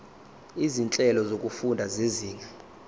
izinhlelo zokufunda zezinga